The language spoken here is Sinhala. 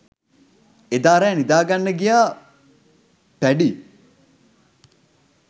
එදා රෑ නිදාගන්න ගිය පැඞී